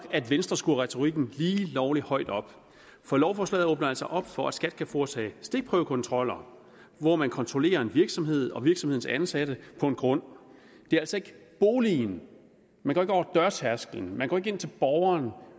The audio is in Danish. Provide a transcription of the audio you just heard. at venstre skruer retorikken lige lovlig højt op for lovforslaget åbner altså op for at skat kan foretage stikprøvekontroller hvor man kontrollerer en virksomhed og virksomhedens ansatte på en grund det er altså ikke boligen man går ikke over dørtærskelen man går ikke ind til borgeren